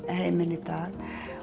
heiminn í dag